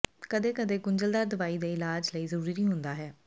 ਕਦੇ ਕਦੇ ਗੁੰਝਲਦਾਰ ਦਵਾਈ ਦੇ ਇਲਾਜ ਲਈ ਜ਼ਰੂਰੀ ਹੁੰਦਾ ਹੈ